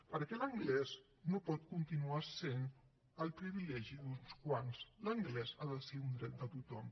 perquè l’anglès no pot continuar sent el privilegi d’uns quants l’anglès ha de ser un dret de tothom